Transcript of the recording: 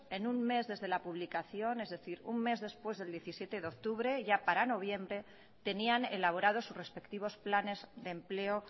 en un mes desde la publicación es decir un mes después del diecisiete de octubre ya para noviembre tenían elaborados sus respectivos planes de empleo